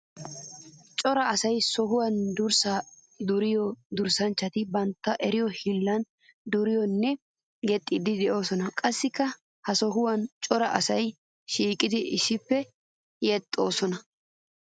Cora asay sohuwan durssa duriya durasanchchatti bantta eriyo hiillan duriddinne yexxiddi de'osonna. Qassikka ha sohuwan cora asay shiiqiddi issippe yexxosonna.